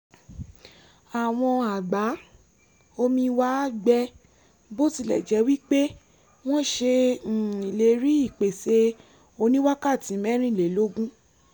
àwọn àgbá-omi wa gbẹ bó tilẹ̀ jẹ́ wí pé wọ́n ṣe um ìlérí ìpèsè oníwákàtí mẹ́rìnlélógún